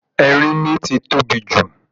Erínmí ti tóbi jù